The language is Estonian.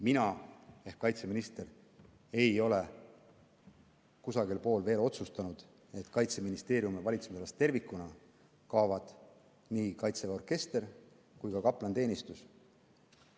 Mina ehk kaitseminister ei ole veel otsustanud, et Kaitseministeeriumi valitsemisalast tervikuna kaovad nii Kaitseväe orkester kui ka kaplaniteenistus.